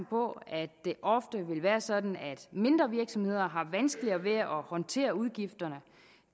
på at det ofte vil være sådan at mindre virksomheder har vanskeligere ved at håndtere udgifterne